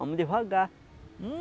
Vamos devagar.